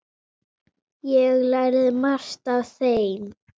Ég lærði margt af þeim.